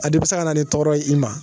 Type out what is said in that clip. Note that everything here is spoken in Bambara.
A de bɛ se ka na ni tɔɔrɔ ye i ma